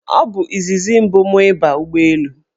Ọ bụ izizi mụ ịba ụgbọelu.